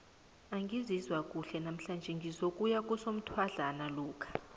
angizizwa kuhle namhlanjise ngizokuya kusomthwadlana lokha